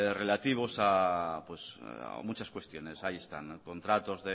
relativos a muchas cuestiones ahí están contratos